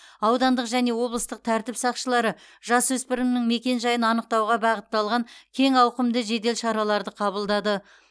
аудандық және облыстық тәртіп сақшылары жасөспірімнің мекенжайын анықтауға бағытталған кең ауқымды жедел шараларды қабылдады